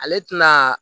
Ale tɛna